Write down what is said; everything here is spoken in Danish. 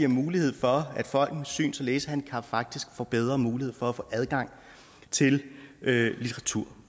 mulighed for at folk med syns og læsehandicap faktisk får bedre mulighed for at få adgang til litteratur